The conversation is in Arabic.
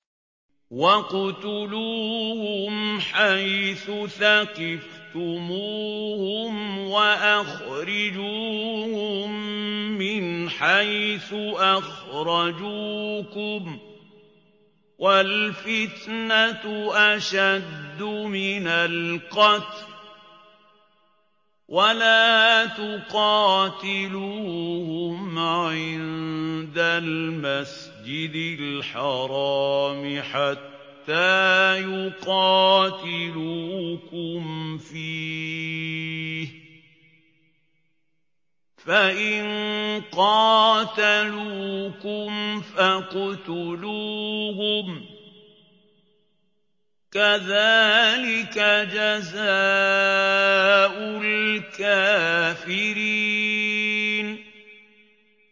وَاقْتُلُوهُمْ حَيْثُ ثَقِفْتُمُوهُمْ وَأَخْرِجُوهُم مِّنْ حَيْثُ أَخْرَجُوكُمْ ۚ وَالْفِتْنَةُ أَشَدُّ مِنَ الْقَتْلِ ۚ وَلَا تُقَاتِلُوهُمْ عِندَ الْمَسْجِدِ الْحَرَامِ حَتَّىٰ يُقَاتِلُوكُمْ فِيهِ ۖ فَإِن قَاتَلُوكُمْ فَاقْتُلُوهُمْ ۗ كَذَٰلِكَ جَزَاءُ الْكَافِرِينَ